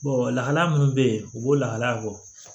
lahala minnu be yen u b'o lahala bɔ